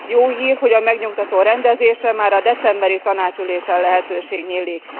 Jó hír, hogy a megnyugtató rendezésre már a decemberi tanácsülésen lehetőség nyílik.